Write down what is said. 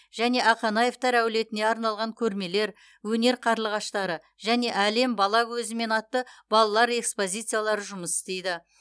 және ақанаевтар әулетіне арналған көрмелер өнер қарлығаштары және әлем бала көзімен атты балалар экспозициялары жұмыс істейді